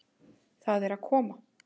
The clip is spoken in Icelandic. Það er að koma!